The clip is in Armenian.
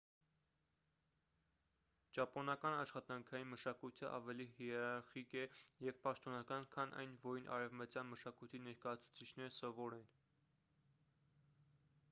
ճապոնական աշխատանքային մշակույթը ավելի հիերարխիկ է և պաշտոնական քան այն որին արևմտյան մշակույթի ներկայացուցիչները սովոր են